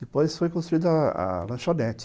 Depois foi construída a a lanchonete.